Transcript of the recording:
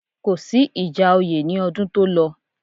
Kò sí ìjà oyè ní ọdún tó lọ